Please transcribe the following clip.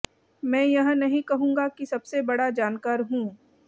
मैं यह नहीं कहूंगा कि सबसे बड़ा जानकार हूं